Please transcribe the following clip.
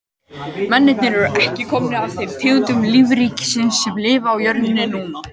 Mennirnir eru ekki komnir af þeim tegundum lífríkisins sem lifa á jörðinni núna.